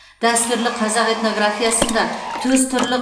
дәстүрлі қазақ этнографиясында төс түрлі